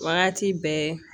Wagati bɛɛ